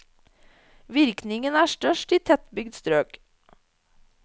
Virkningen er størst i tettbygd strøk.